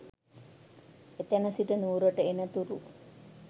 එතැන සිට නුවරට එනතුරු